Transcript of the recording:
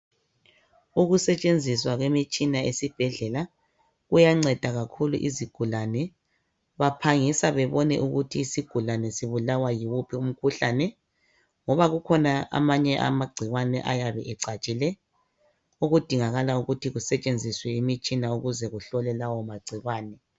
Ukusetshenziswa kwemitshina esibhedlela kuyanceda kakhulu izigulane. Baphangisa bebone ukuthi isigulane sibulawa yiwuphi umkhuhlane. Ngoba kukhona amanye amagcikwane ayabe ecatshile okudingakala ukuthi kusetshenziswa imitshina ukuze kuhlolwe lawo magcikwane.